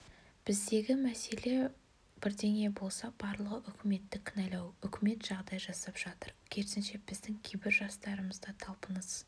біздегі мәселе бірдеңе болса барлығы үкіметті кінәлау үкімет жағдай жасап жатыр керісінше біздің кейбір жастарымызда талпыныс